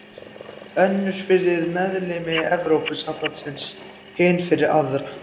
Önnur fyrir meðlimi Evrópusambandsins, hin fyrir aðra.